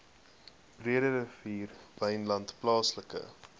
breederivier wynland plaaslike